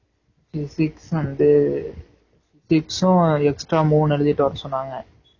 physics வந்து tips உம் extra மூணு எழுதிட்டு வர சொன்னாங்க